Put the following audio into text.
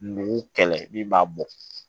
Mugu kɛlɛ min b'a bɔ